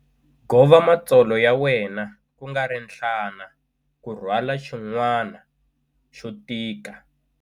Gova matsolo ya wena kungari nhlana ku rhwala xin'wana xo tika.